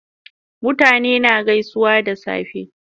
Mutane na gaisuwa da safe